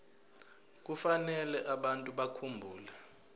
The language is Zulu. kufanele abantu bakhumbule